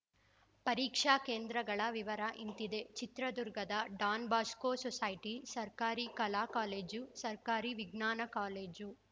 ಪರೀಕ್ಷಾ ಕೇಂದ್ರಗಳ ವಿವರ ಇಂತಿದೆ ಚಿತ್ರದುರ್ಗದ ಡಾನ್‌ಬೊಸ್ಕೋ ಸೊಸೈಟಿ ಸರ್ಕಾರಿ ಕಲಾ ಕಾಲೇಜು ಸರ್ಕಾರಿ ವಿಜ್ಞಾನಕಾಲೇಜು